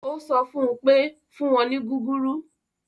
Ó sọ fún un pé; fún wọn ní gúgúrú